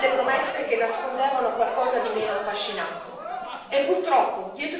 Ma in passato abbiamo visto belle promesse che nascondevano qualcosa di meno affascinante.